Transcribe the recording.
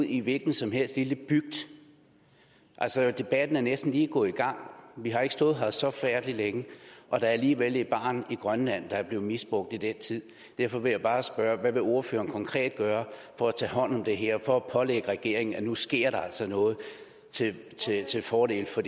i en hvilken som helst lille bygd altså debatten er næsten lige gået i gang vi har ikke stået her så forfærdelig længe og der er alligevel et barn i grønland der er blevet misbrugt i den tid derfor vil jeg bare spørge hvad vil ordføreren konkret gøre for at tage hånd om det her for at pålægge regeringen at nu sker der altså noget til fordel for